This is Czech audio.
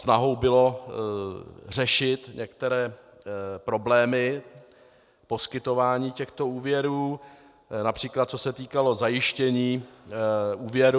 Snahou bylo řešit některé problémy poskytování těchto úvěrů, například co se týkalo zajištění úvěrů.